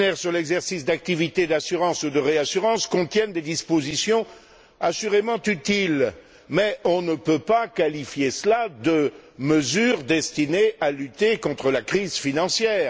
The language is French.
Skinner sur l'exercice d'activités d'assurance ou de réassurance contiennent des dispositions assurément utiles, mais on ne peut pas qualifier cela de mesures destinées à lutter contre la crise financière.